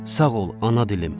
Sağ ol, ana dilim.